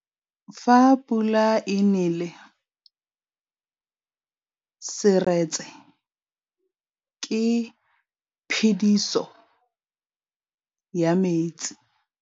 Fa pula e nelê serêtsê ke phêdisô ya metsi.